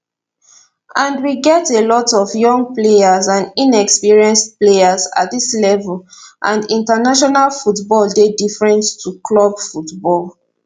and we get a lot of young players and inexperienced players at dis level and international football dey different to club football